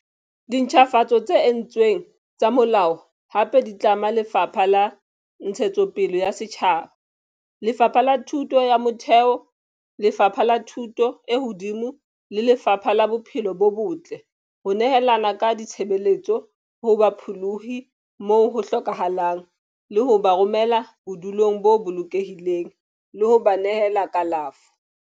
Dintjhafatso tse entsweng tsa molao hape di tlama Lefapha la Ntshetsopele ya Setjhaba, Lefapha la Thuto ya Motheo, Lefapha la Thuto e Hodimo le Lefapha la Bophelo bo Botle ho nehelana ka ditshebeletso ho bapholohi moo ho hlokahalang le ho ba romela bodulong bo bolokehileng le ho ba nehela kalafo.